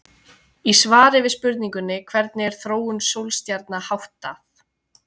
Í svari við spurningunni Hvernig er þróun sólstjarna háttað?